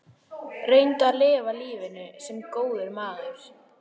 Reyndu að lifa lífinu- sem góður maður.